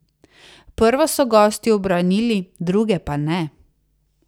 Prvo so gosti ubranili, druge pa ne.